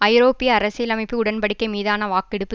ஐரோப்பிய அரசியலமைப்பு உடன் படிக்கை மீதான வாக்கெடுப்பு